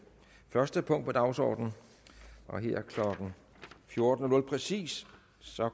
første punkt på dagsordenen og her klokken fjorten præcis